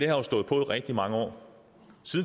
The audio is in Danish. har jo stået på i rigtig mange år